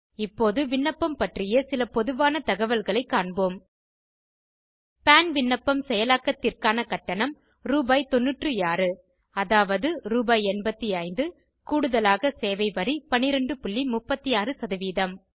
இப்போது விண்ணப்பம் பற்றிய சில பொதுவான தகவல்களைக் காண்போம் பான் விண்ணப்பம் செயலாக்கத்திற்கான கட்டணம் ரூ9600 அதாவது ரூ 8500 கூடுதலாக சேவை வரி 1236